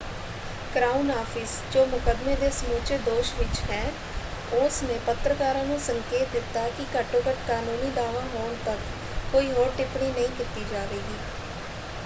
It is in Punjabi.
ਕ੍ਰਾਊਨ ਆਫ਼ਿਸ ਜੋ ਮੁਕੱਦਮੇ ਦੇ ਸਮੁੱਚੇ ਦੋਸ਼ ਵਿੱਚ ਹੈ ਉਸ ਨੇ ਪੱਤਰਕਾਰਾਂ ਨੂੰ ਸੰਕੇਤ ਦਿੱਤਾ ਕਿ ਘੱਟੋ-ਘੱਟ ਕਾਨੂੰਨੀ ਦਾਅਵਾ ਹੋਣ ਤੱਕ ਕੋਈ ਹੋਰ ਟਿੱਪਣੀ ਨਹੀਂ ਕੀਤੀ ਜਾਵੇਗੀ।